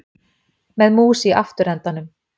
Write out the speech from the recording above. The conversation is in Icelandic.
Með mús í afturendanum